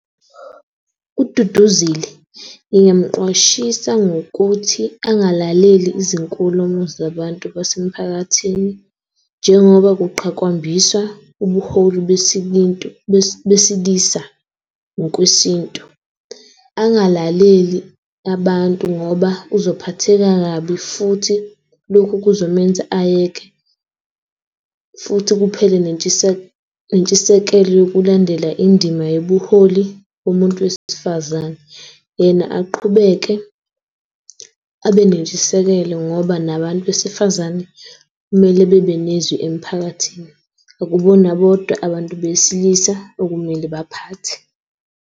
UDuduzile ngingemqwashisa ngokuthi angalaleli izinkulumo zabantu basemphakathini njengoba kuqhakambiswa ubuholi besilisa ngokwesintu. Angalaleli abantu ngoba uzophatheka kabi futhi lokhu kuzomenza ayeke futhi kuphele nentshisekelo yokulandela indima yobuholi yomuntu wesifazane. Yena aqhubeke abe nentshisekelo ngoba nabantu besifazane kumele babanezwi emphakathini. Akubona bodwa abantu besilisa okumele baphathe.